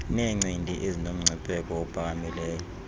neencindi ezinomngcipheko ophakamileyo